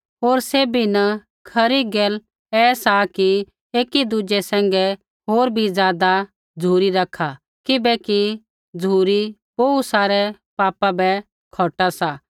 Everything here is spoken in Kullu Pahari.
होर सैभी न खरी गैल ऐसा कि एकी दुज़ै सैंघै होर भी ज़ादा झ़ुरी रखा किबैकि झ़ुरी बोहू सारै पापा बै खौटा सा